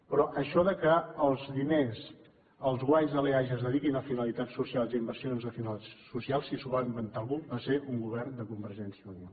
però això que els diners els guanys de l’eaja es dediquin a finalitats socials i a inversions de finalitats socials si s’ho va inventar algú va ser un govern de convergència i unió